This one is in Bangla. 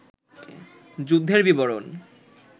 যুদ্ধের বিবরণ